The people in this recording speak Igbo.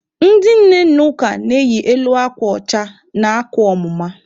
Ndị nne n'ụka na-eyi elu akwa ọcha na akwa ọmụma.